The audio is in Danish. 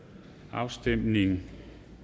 afstemningen